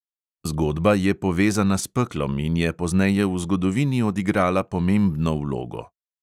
Zgodba je povezana s peklom in je pozneje v zgodovini odigrala pomembno vlogo.